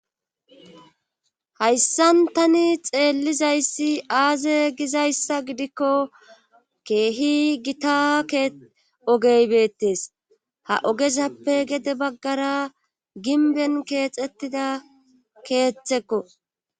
hayssan tani xeellizayssi aaze gizayssa gidikko keehi gita ogey beettes ha ogezappe gede baggara ginben keexettida keeththekko